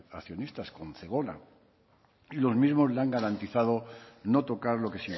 accionistas con zegona y los mismos le han garantizado no tocar lo que